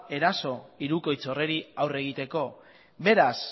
eraso hirukoitz horri aurre egiteko beraz